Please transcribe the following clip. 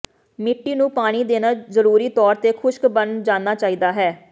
ਮਿੱਟੀ ਨੂੰ ਪਾਣੀ ਦੇਣਾ ਜ਼ਰੂਰੀ ਤੌਰ ਤੇ ਖੁਸ਼ਕ ਬਣ ਜਾਣਾ ਚਾਹੀਦਾ ਹੈ